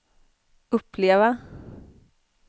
uppleva